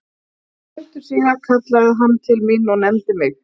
Stuttu síðar kallaði hann til mín og nefndi mig